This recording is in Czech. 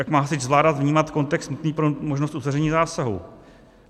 Jak má hasič zvládat vnímat kontext nutný pro možnost uzavření zásahu?